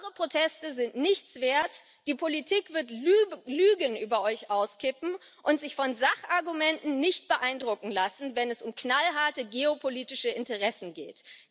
Eure Proteste sind nichts wert, die Politik wird Lügen über euch auskippen und sich von Sachargumenten nicht beeindrucken lassen, wenn es um knallharte geopolitische Interessen geht.